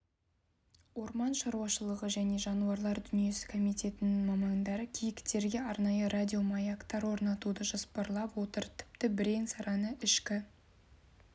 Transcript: орман шаруашылығы және жануарлар дүниесі комитетінің мамандары киіктерге арнайы радиомаяктар орнатуды жоспарлап отыр тіпті бірең-сараңы ішкі